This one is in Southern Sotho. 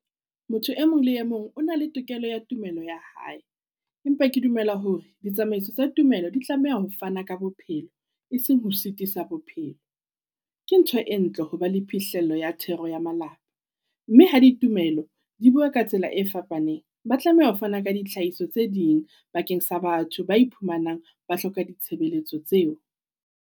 Motho e mong le e mong o na le tokelo ya tumello ya hae, empa ke dumela hore ditsamaiso tsa tumelo di tlameha ho fana ka bophelo e seng ho sitisa bophelo. Ke ntho e ntle ho ba le phihlelo ya thero ya malapa, mme ha ditumelo di bua ka tsela e fapaneng. Ba tlameha ho fana ka ditlhahiso tse ding bakeng sa batho ba iphumanang ba hloka ditshebeletso tseo.